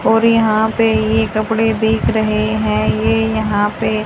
और यहां पे ये कपड़े दिख रहे हैं ये यहां पे--